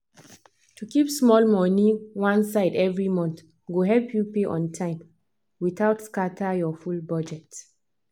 to keep small money one side every month go help you pay on time without scatter your full budget.